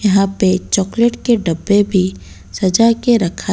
यहाँ पे चॉकलेट के डब्बे भी सजा के रखा--